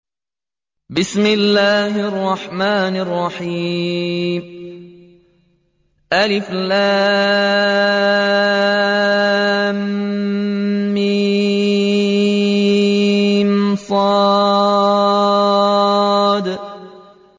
المص